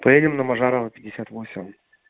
поедем на мажарова пятьдесят восемь